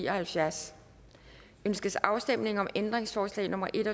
og halvfjerds ønskes afstemning om ændringsforslag nummer en